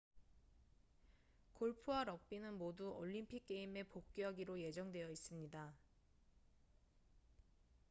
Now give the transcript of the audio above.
골프와 럭비는 모두 올림픽 게임에 복귀하기로 예정되어 있습니다